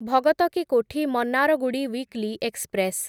ଭଗତ କି Kothi Mannargudi weekly express